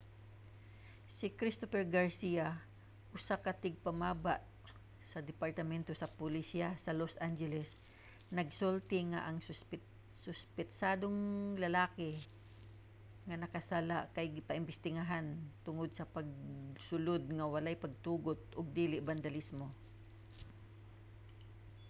si christopher garcia usa ka tigpamaba sa departamento sa pulisya sa los angeles nagsulti nga ang suspetsadong lalaki nga nakasala kay ginaimbestigahan tungod sa pagsulod nga walay pagtugot ug dili sa bandalismo